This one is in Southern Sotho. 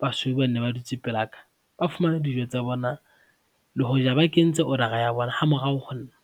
basweu ba nne ba dutse pelaka, ba fumana dijo tsa bona le hoja ba kentse order-ra ya bona ha morao ho nna.